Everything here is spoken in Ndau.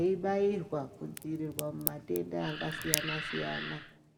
eibairwa kudzivirirwa mumatenda akasiyana siyana.